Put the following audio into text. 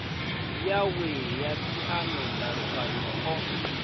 yawe ya phiano ndalukanyo o